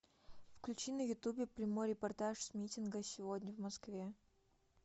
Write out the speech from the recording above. включи на ютубе прямой репортаж с митинга сегодня в москве